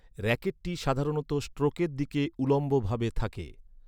র‍্যাকেটটি সাধারণত স্ট্রোকের দিকে উল্লম্ব ভাবে থাকে।